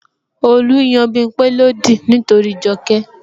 Olu n yan Bimpe lódì nítorí Joke